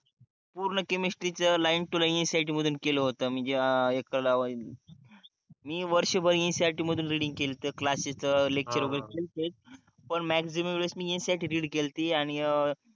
पूर्ण केमिस्ट्रीच line to line NCERT मधून केल होत मी जे एकटलावा मी वर्ष भर NCERT मधून रिडींग केलती क्लासेस लेक्चर वगैरे पन मॅक्सिमम वेळेस मी NCERT रिड केलती आणि अं